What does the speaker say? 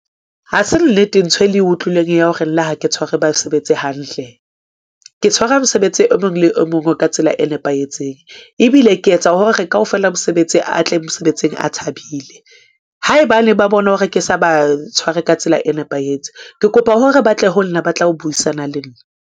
Ha se nnete nthwe le e utlwileng ya hore nna ha ke tshware ba sebetse hantle. ke tshwara mosebetsi o mong le o mong ka tsela e nepahetseng, ebile ke etsa hore kaofela mosebetsi a tle mosebetsing a thabile. Haebane ba bone hore ke sa ba tshware ka tsela e nepahetseng, ke kopa hore ba tle ho nna ba tla ho buisana le nna.